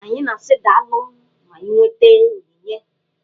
Anyị na-asị daalụ ma anyị nweta onyinye.